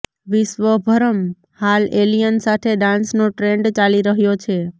વિશ્વભરમં હાલ એલિયન સાથે ડાન્સનો ટ્રેન્ડ ચાલી રહ્યો છે